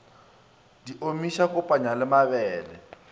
di omiša kopanya le mabele